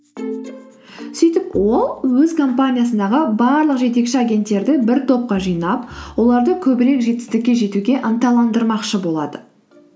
сөйтіп ол өз компаниясындағы барлық жетекші агенттерді бір топқа жинап оларды көбірек жетістікке жетуге ынталандырмақшы болады